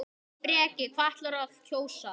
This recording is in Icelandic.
Breki: Hvað ætlarðu að kjósa?